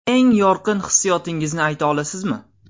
Eng yorqin hissiyotingizni ayta olasizmi?